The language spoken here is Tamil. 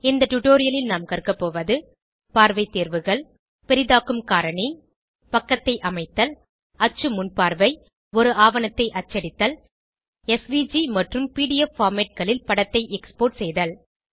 இந்த டுடோரியலில் நாம் கற்க போவது பார்வை தேர்வுகள் பெரிதாக்கும் காரணி பக்கத்தை அமைத்தல் அச்சு முன்பார்வை ஒரு ஆவணத்தை அச்சடித்தல் எஸ்விஜி மற்றும் பிடிஎஃப் formatகளில் படத்தை எக்ஸ்போர்ட் செய்தல்